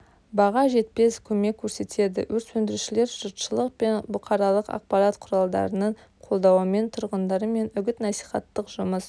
баға жетпес көмек көрсетеді өрт сөндірушілер жұртшылық пен бұқаралық ақпарат құралдарының қолдауымен тұрғындармен үгіт-насихаттық жұмыс